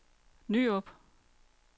Nyrup